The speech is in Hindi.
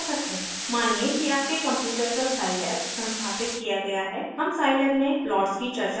मानिये कि आपके कंप्यूटर पर साइलैब संस्थापित किया गया है हम साइलैब में प्लॉट्स की चर्चा करेंगे